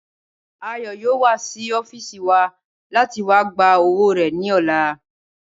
Ayọ̀ yóò wá sí ọ́fìsì wa láti wá gba owó rẹ̀ ní ọ̀la